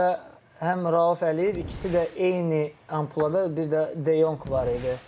Doqquz nömrə həm Rauf Əliyev, ikisi də eyni ampulada, bir də De Jong var idi.